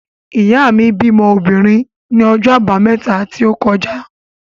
Ìyá mi bímọ obìnrin ní ọjọ́ Àbámẹ́ta tí ó kọjá.